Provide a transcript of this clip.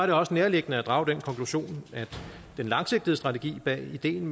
det også nærliggende at drage den konklusion at den langsigtede strategi bag ideen